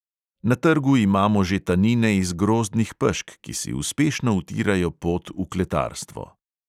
Na trgu imamo že tanine iz grozdnih pešk, ki si uspešno utirajo pot v kletarstvo.